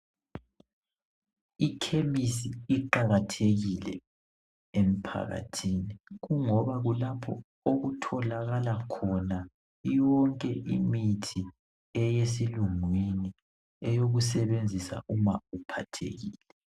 Ikhemisi iqakathekile emphakathini kungoba kulapho okutholakala khona yonke imithi eyesilungu oyokusebenzisa uma uphathekile